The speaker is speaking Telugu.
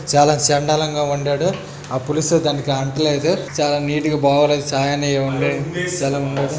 చాలా చెండాలం గా వండాడు. ఆ పులుసు దానికి అంటలేదు. చాలా నీట్ గా బాగోలేదు. సాయి అన్నయ్య